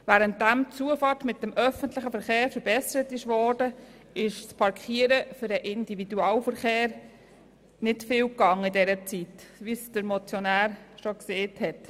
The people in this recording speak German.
Während die Zufahrt mit dem öffentlichen Verkehr verbessert wurde, ist in Bezug auf die Parkierungsmöglichkeiten für den Individualverkehr in dieser Zeit nicht viel gelaufen – wie es der Motionär bereits erwähnt hat.